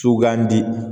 Sugandi